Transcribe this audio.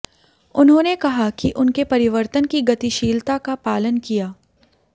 उन्होंने कहा कि उनके परिवर्तन की गतिशीलता का पालन किया